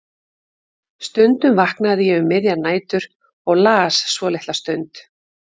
Stundum vaknaði ég um miðjar nætur og las svo litla stund.